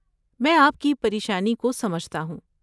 میں آپ کی پریشانی کو سمجھتا ہوں۔